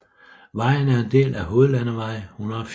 Vejen er en del af hovedlandevej 180